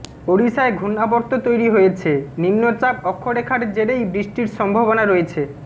ওড়িশায় ঘূর্ণাবর্ত তৈরি হয়েছে নিম্নচাপ অক্ষরেখার জেরেই বৃষ্টির সম্ভাবনা রয়েছে